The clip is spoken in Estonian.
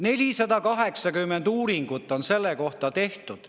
480 uuringut on selle kohta tehtud.